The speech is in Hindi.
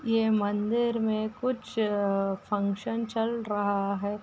ये मंदिर में कुछ फक्शन चल रहा है।